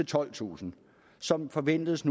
tolvtusind som nu forventedes